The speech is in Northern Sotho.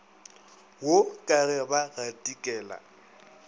wo ka ge ba gatikela